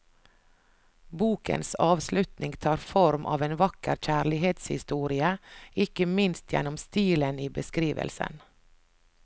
Bokens avslutning tar form av en vakker kjærlighetshistorie, ikke minst gjennom stilen i beskrivelsen.